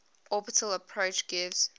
orbital approach gives